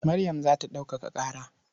Maryam za ta ɗaukaka ƙara.